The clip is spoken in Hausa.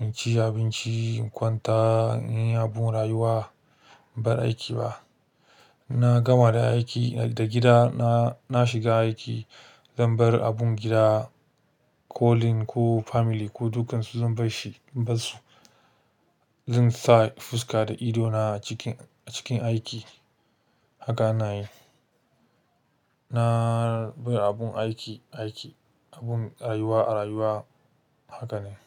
in ci abinci, in kwanta, in yi abun rayuwa, bar aiki ba. Na gama da aiki, daga gida na shiga aiki, zan bar abun gida, calling ko family ko dukansu zan bar shi, zan bar su. Zan sa fuska da ido na a cikin aiki. Haka na yi. Na bar abun aiki aiki, abun rayuwa rayuwa. Haka ne.